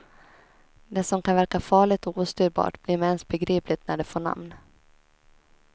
Det som kan verka farligt och ostyrbart blir med ens begripligt när det får namn.